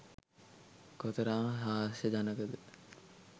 කොතරම් හාස්‍ය ජනකද